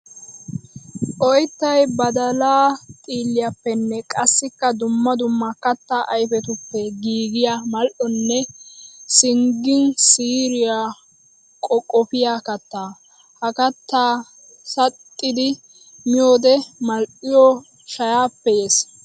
Oyttay badalla xiilliyappenne qassikka dumma dumma katta ayfettuppe giigiya mal'onne singgin siiriya qoqqopiya katta. Ha katta saxxiddi miyoodde mali'oy shayaappe yees!